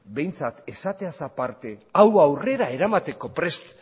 behintzat esateaz aparte hau aurrera eramateko prest